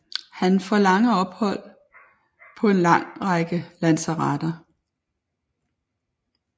Han får lange ophold på en lang række lazaretter